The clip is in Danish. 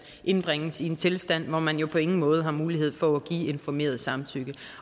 indbringes i en tilstand hvor man på ingen måde har mulighed for at give informeret samtykke